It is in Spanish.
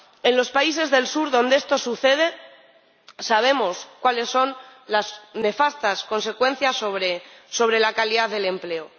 En los países del sur donde esto sucede, sabemos cuáles son las nefastas consecuencias sobre la calidad del empleo.